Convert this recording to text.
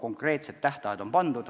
Konkreetsed tähtajad on pandud.